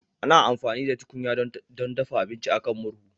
Ana amfani da tukunya don dafa abinci a kan murhu